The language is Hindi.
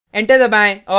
एंटर दबाएँ और